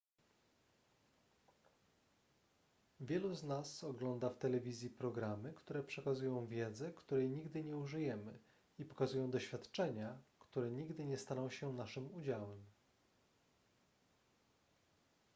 wielu z nas ogląda w telewizji programy które przekazują wiedzę której nigdy nie użyjemy i pokazują doświadczenia które nigdy nie staną się naszym udziałem